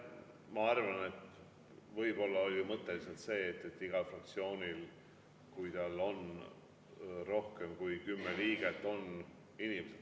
Ma arvan, et võib-olla oli mõte lihtsalt see, et igal fraktsioonil, kui tal on rohkem kui kümme liiget, on seal inimesed.